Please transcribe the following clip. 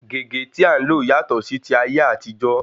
Gègé tí à ń lò yàtọ̀ sí ti ayé àtijó.